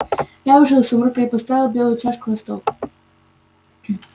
я вышел из сумрака и поставил белую чашку на стол